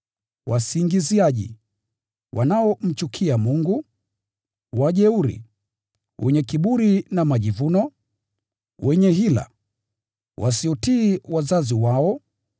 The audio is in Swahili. wasingiziaji, wanaomchukia Mungu, wajeuri, wenye kiburi na majivuno, wenye hila, wasiotii wazazi wao,